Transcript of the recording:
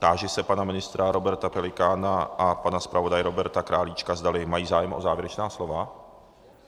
Táži se pana ministra Roberta Pelikána a pana zpravodaje Roberta Králíčka, zdali mají zájem o závěrečná slova.